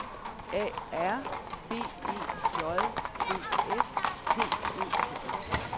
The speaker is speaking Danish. A R B E J D S T Ø J